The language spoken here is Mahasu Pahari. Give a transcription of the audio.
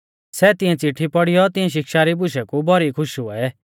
सै तिऐं चिट्ठी पौड़ीयौ तिऐं शिक्षा री बुशै कु भौरी खुश हुऐ